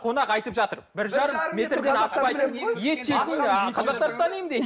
қонақ айтып жатыр